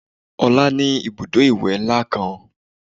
Ọlá ní Ibùdó ìwẹ̀ ńlá kan